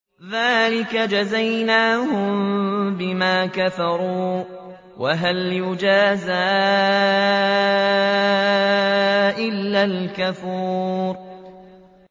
ذَٰلِكَ جَزَيْنَاهُم بِمَا كَفَرُوا ۖ وَهَلْ نُجَازِي إِلَّا الْكَفُورَ